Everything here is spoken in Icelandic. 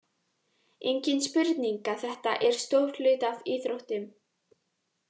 Engin spurning að þetta er stór hluti af íþróttum.